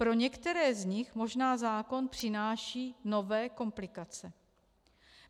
Pro některé z nich možná zákon přináší nové komplikace.